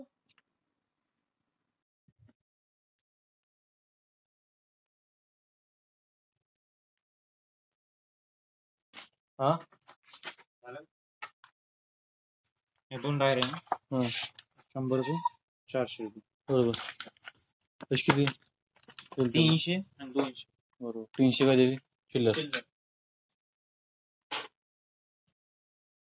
आ